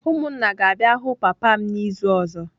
Umunna ga-abia hu papam n'izu ozo